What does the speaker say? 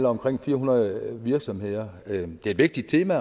omkring fire hundrede virksomheder det er et vigtigt tema